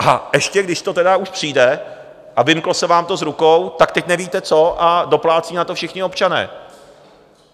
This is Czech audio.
A ještě, když to tedy už přijde a vymklo se vám to z rukou, tak teď nevíte, co, a doplácí na to všichni občané.